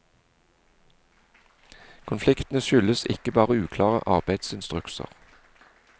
Konfliktene skyldes ikke bare uklare arbeidsinstrukser.